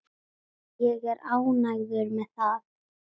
Ég er ánægður með það.